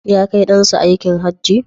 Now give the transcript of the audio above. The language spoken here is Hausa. Ya kai ɗan sa aikin Hajji?